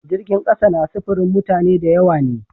Jirgin kasa na sifirin mutane da yawa ne.